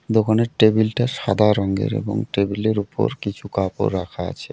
দোকানের টেবিল -টা সাদা রঙের এবং টেবিল -এর উপর কিছু কাপড় রাখা আছে।